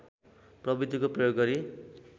प्रविधिको प्रयोग गरी